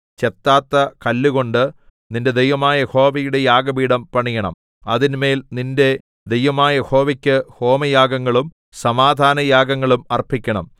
ചെത്താത്ത കല്ലുകൊണ്ട് നിന്റെ ദൈവമായ യഹോവയുടെ യാഗപീഠം പണിയണം അതിന്മേൽ നിന്റെ ദൈവമായ യഹോവയ്ക്ക് ഹോമയാഗങ്ങളും സമാധാനയാഗങ്ങളും അർപ്പിക്കണം